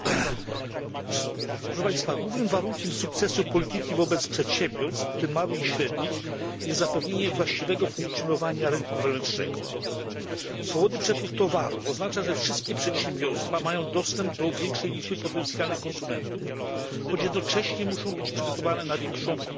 Panie Przewodniczący! Głównym warunkiem sukcesu polityki wobec przedsiębiorstw, w tym małych i średnich, jest zapewnienie właściwego funkcjonowania rynku wewnętrznego. Swobodny przepływ towarów oznacza, że wszystkie przedsiębiorstwa mają dostęp do większej liczby potencjalnych konsumentów, choć jednocześnie muszą być przygotowane na większą konkurencję.